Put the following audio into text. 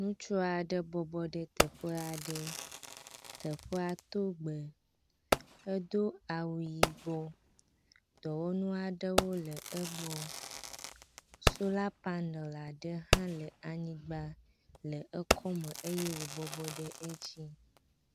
Ŋutsua ɖe bɔbɔ ɖe teƒe aɖe. Teƒea to gbe, edo awu yibɔ, dɔwɔnu aɖewo le egbɔ, solar panel aɖe hã le anyigba le ekɔme eye wòbɔbɔ ɖe edzi.